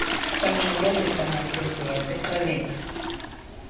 sancokolisa mantombi wasixelela